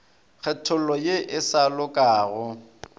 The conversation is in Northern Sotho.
kgethollo ye e sa lokago